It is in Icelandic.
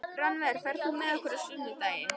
Rannver, ferð þú með okkur á sunnudaginn?